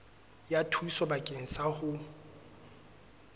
ya thuso bakeng sa ho